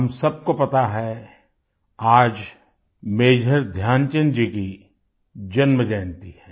हम सबको पता है आज मेजर ध्यानचंद जी की जन्म जयंती है